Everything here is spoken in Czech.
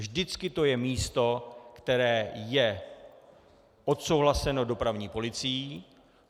Vždycky to je místo, které je odsouhlaseno dopravní policií.